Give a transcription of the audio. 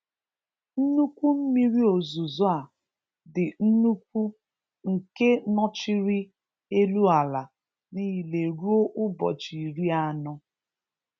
Nnukwu mmiri ozuzo a dị nnukwu nke nọchiri elu ala niile ruo ụbọchị iri anọ.